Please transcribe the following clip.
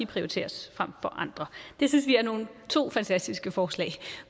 prioriteres frem for andre det synes vi er to fantastiske forslag